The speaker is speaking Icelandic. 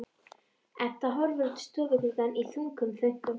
Edda horfir út um stofugluggann í þungum þönkum.